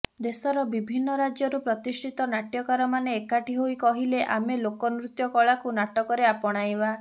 ଦେଶର ବିଭିନ୍ନ ରାଜ୍ୟରୁ ପ୍ରତିଷ୍ଠିତ ନାଟ୍ୟକାରମାନେ ଏକାଠି ହୋଇ କହିଲେ ଆମେ ଲୋକନୃତ୍ୟ କଳାକୁ ନାଟକରେ ଆପଣାଇବା